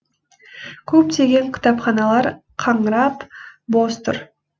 көптеген кітапханалар қаңырап бос тұр